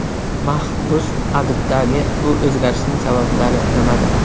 Mahbus adibdagi bu o‘zgarishning sabablari nimada?